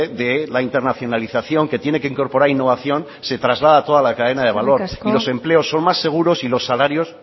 de la internacionalización que tiene que incorporar innovación se traslada a toda la cadena de valor y los empleos son más seguros y los salarios